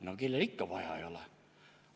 No kellel siis vaja ei ole!